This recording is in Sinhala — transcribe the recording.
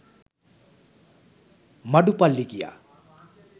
මඩු පල්ලි ගියා.